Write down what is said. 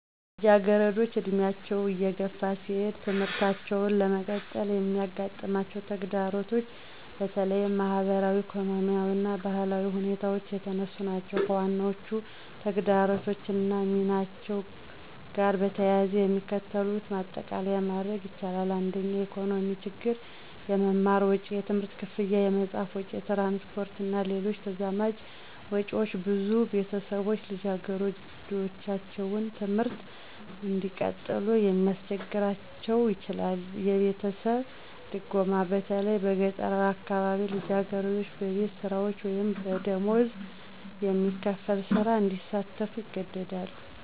ልጃገረዶች ዕድሜያቸው እየገፋ ሲሄድ ትምህርታቸውን ለመቀጠል የሚያጋጥማቸው ተግዳሮቶች በተለያዩ ማኅበራዊ፣ ኢኮኖሚያዊ እና ባህላዊ ሁኔታዎች የተነሱ ናቸው። ከዋናዎቹ ተግዳሮቶች እና ሚናቸው ጋር በተያያዘ የሚከተሉትን ማጠቃለያ ማድረግ ይቻላል። 1. **የኢኮኖሚ ችግሮች** - **የመማር ወጪ** የትምህርት ክፍያ፣ የመጽሐፍ ወጪ፣ የትራንስፖርት እና ሌሎች ተዛማጅ ወጪዎች ብዙ ቤተሰቦች ልጃገረዶቻቸውን ትምህርት እንዲቀጥሉ እንዲያስቸግራቸው ይችላል። - **የቤተሰብ ድጎማ** በተለይ በገጠራዊ አካባቢዎች ልጃገረዶች በቤት ስራዎች ወይም በደሞዝ የሚከፈል ሥራ ላይ እንዲሳተፉ ይገደዳሉ